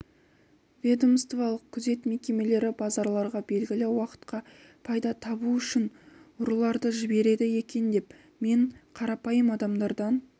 ведомстволық күзет мекемелері базарларға белгілі уақытқа пайда табу үшін ұрыларды жібереді екен деп мен қарапайым адамдардан